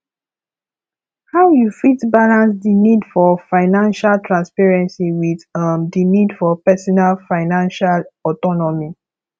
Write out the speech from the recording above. how you fit balance di need for financial transparency with um di need for personal financial autonomy